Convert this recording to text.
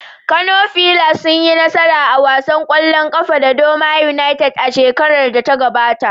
Kano fillars sun yi nasara a wasan kwallon kafa da Doma United a shekarar da ta gabata.